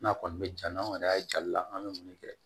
N'a kɔni bɛ ja n'anw yɛrɛ y'a jal'a la an bɛ mun de kɛ